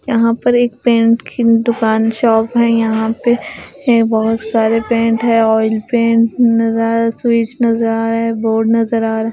यहाँ पर एक पेंट की दुकान शॉप है यहाँ पे य बहुत सारे पेंट है ऑयल पेंट नज़र आ स्विच नज़र आ रहा है बोर्ड नज़र आ रहा है।